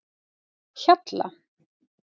Hjalla